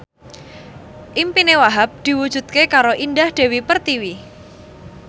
impine Wahhab diwujudke karo Indah Dewi Pertiwi